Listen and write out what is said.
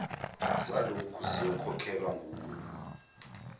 zaloku ziyokhokhelwa nguwe